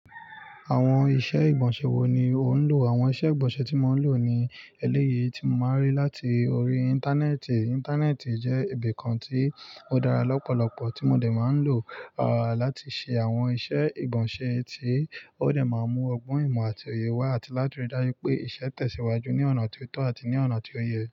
Àwọn iṣẹ́ ìgbọ̀nsẹ̀ wo ni o ń lò? Àwọn iṣẹ́ ìgbọ̀nsẹ̀ tí mò ń lò ni eléyìí tí mò máa ń rí láti orí Íńtánẹ́ẹ̀tì. Íńtánẹ́ẹ̀tì jẹ́ ibi kan tí ó dára lọ́pọ̀lọ̀pọ̀ tí mo dè máa ń lò, à, láti ṣe àwọn iṣẹ́ ìgbọ̀nsẹ̀ tí ó lè máa mú ọgbọ́n ìmọ̀ àti òye wá àti láti rí dájú pé iṣẹ́ tẹ̀síwájú ní ọ̀nà tó tọ́ àti ní ọ̀nà tó yẹ.